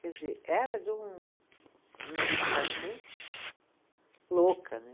Quer dizer, era de um, uma dedicação louca né.